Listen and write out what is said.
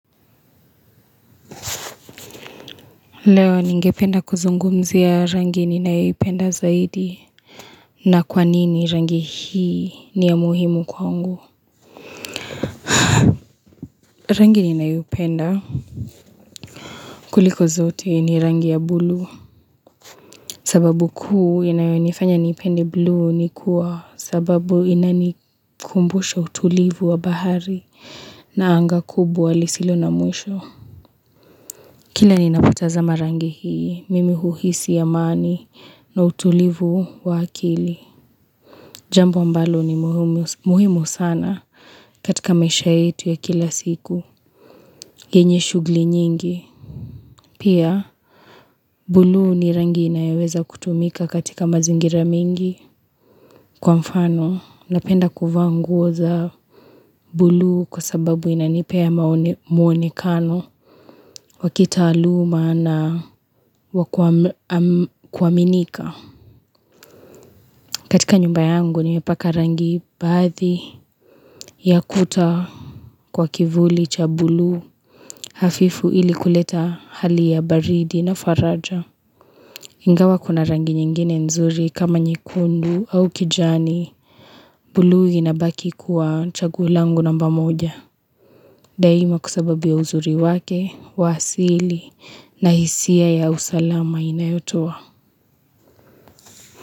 Leo ningependa kuzungumzi ya rangi ninayipenda zaidi na kwa nini rangi hii ni ya muhimu kwangu rangi ninayipenda kuliko zote ni rangi ya blue sababu kuu inayonifanya nipende blue ni kuwa sababu inani kumbusha utulivu wa bahari na anga kubu walisilo na mwisho kila ninapotaza marangi hii mimi huhisi ya maani na utulivu wa akili Jambu ambalo ni muhimu sana katika maisha yetu ya kila siku, enye shugli nyingi. Pia, bluu ni rangi na yaweza kutumika katika mazingira mingi. Kwa mfano, napenda kufaa nguo bluu kwa sababu inanipe ya muonekano, wakitaluma na wakuaminika. Katika nyumba yangu nimepaka rangi bathi ya kuta kwa kivuli cha bluu hafifu ili kuleta hali ya baridi na faraja. Ingawa kuna rangi nyingine nzuri kama nyekundu au kijani blu inabaki kuwa chagulangu namba moja. Daima kusababia uzuri wake, wasili na hisia ya usalama inayotua.